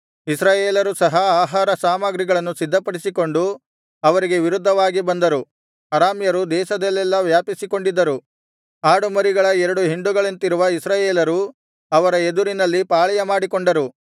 ಇಸ್ರಾಯೇಲರು ಸಹ ಆಹಾರ ಸಾಮಗ್ರಿಗಳನ್ನು ಸಿದ್ಧಪಡಿಸಿಕೊಂಡು ಅವರಿಗೆ ವಿರುದ್ಧವಾಗಿ ಬಂದರು ಅರಾಮ್ಯರು ದೇಶದಲ್ಲೆಲ್ಲಾ ವ್ಯಾಪಿಸಿಕೊಂಡಿದ್ದರು ಆಡುಮರಿಗಳ ಎರಡು ಹಿಂಡುಗಳಂತಿರುವ ಇಸ್ರಾಯೇಲರು ಅವರ ಎದುರಿನಲ್ಲಿ ಪಾಳೆಯ ಮಾಡಿಕೊಂಡರು